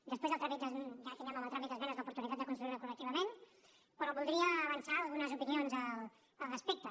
després ja tindrem en el tràmit d’esmenes l’oportunitat de construir la col·lectivament però voldria avançar algunes opinions al respecte